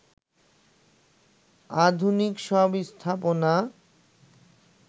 আধুনিক সব স্থাপনা